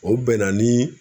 O bɛnna ni